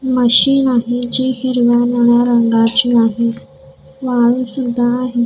Machine आहे जी हिरव्या रंगाची आहे वाळू सुद्धा आहे.